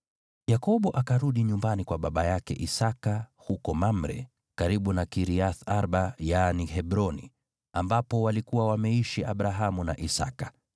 Yakobo akarudi nyumbani kwa baba yake Isaki huko Mamre, karibu na Kiriath-Arba (yaani Hebroni), ambapo walikuwa wameishi Abrahamu na Isaki.